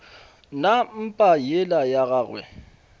na mpa yela ya gagwe